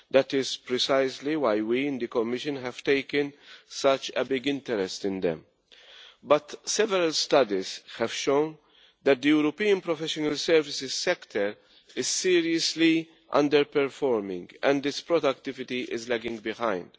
That is precisely why we in the Commission have taken such a big interest in them. But several studies have shown that the European professional services sector is seriously underperforming and its productivity is lagging behind.